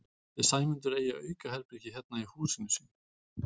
Ætli Sæmundur eigi aukaherbergi hérna í húsinu sínu?